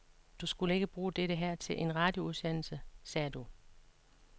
Du skulle ikke bruge dette her til en radioudsendelse, sagde du.